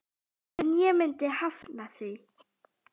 En ég myndi hafna því.